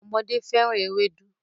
Ọmọdé féràn Ewédú.